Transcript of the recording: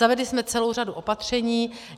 Zavedli jsme celou řadu opatření.